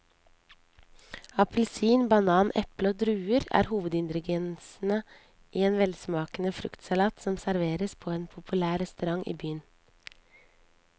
Appelsin, banan, eple og druer er hovedingredienser i en velsmakende fruktsalat som serveres på en populær restaurant i byen.